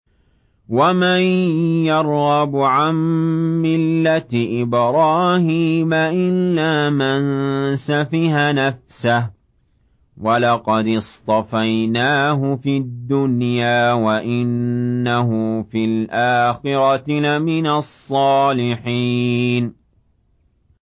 وَمَن يَرْغَبُ عَن مِّلَّةِ إِبْرَاهِيمَ إِلَّا مَن سَفِهَ نَفْسَهُ ۚ وَلَقَدِ اصْطَفَيْنَاهُ فِي الدُّنْيَا ۖ وَإِنَّهُ فِي الْآخِرَةِ لَمِنَ الصَّالِحِينَ